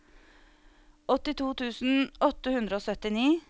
åttito tusen åtte hundre og syttini